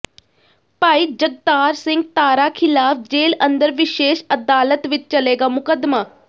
ਭਾਈ ਜਗਤਾਰ ਸਿੰਘ ਤਾਰਾ ਖਿਲ਼ਾਫ ਜੇਲ ਅੰਦਰ ਵਿਸ਼ੇਸ਼ ਅਦਾਲਤ ਵਿੱਚ ਚੱਲੇਗਾ ਮੁਕੱਦਮਾ